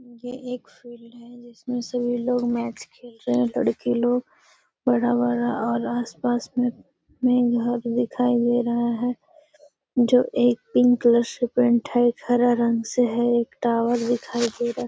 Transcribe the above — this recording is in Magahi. ये एक फील्ड है जिसमें सभी लोग मैच खेल रहे हैं लड़के लोग बड़ा-बड़ा और आसपास में में घर दिखाई दे रहा है जो एक पिंक कलर से पेंट है एक हरा रंग से है एक टावर दिखाई दे रहा है।